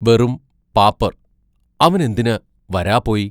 വെറും പാപ്പർ അവനെന്തിന് വരാപോയി?